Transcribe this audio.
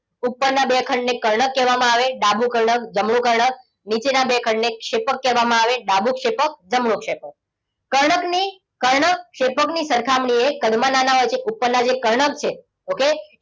ઉપરના બે ખંડને કર્ણક કહેવામાં આવે ડાબું કર્ણક, જમણું કર્ણક. નીચેના બે ખંડને ક્ષેપક કહેવામાં આવે ડાબું ક્ષેપક, જમણું ક્ષેપક. કર્ણકની કારક ક્ષેપકની સરખામણીએ કદમાં નાના હોય છે, ઉપરના જે કર્ણક છે, okay?